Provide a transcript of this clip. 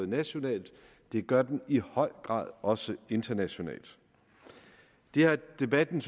nationalt og det gør det i høj grad også internationalt det har debatten